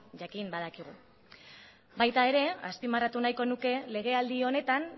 jakin badakigu baita ere azpimarratu nahiko nuke legealdi honetan